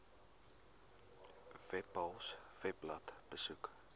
webpals webblad besoek